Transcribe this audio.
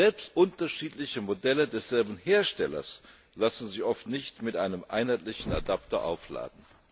selbst unterschiedliche Modelle desselben Herstellers lassen sich oft nicht mit einem einheitlichen Adapter aufladen.